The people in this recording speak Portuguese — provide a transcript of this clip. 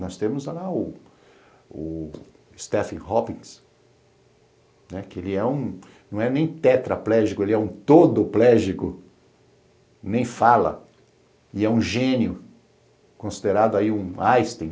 Nós temos lá o Stephen Hoppings, que não é nem tetraplégico, ele é um todoplégico, nem fala, e é um gênio, considerado aí um Einstein.